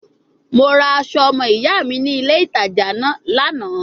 Mo ra aso omo iya mi ni ile itaja Lana